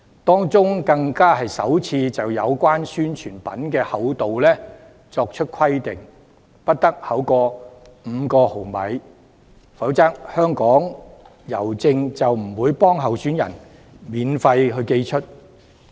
當中更首次就宣傳品的厚度作出規定，不得厚於5毫米，否則香港郵政便不會免費為候選人寄出宣傳品。